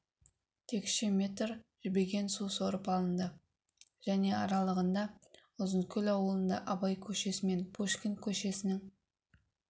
текше метр жібіген су сорып алынды және аралығында ұзынкөл аулында абай көшесі мен пушкин көшесінің